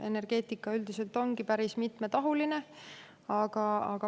Energeetika üldiselt ongi päris mitmetahuline.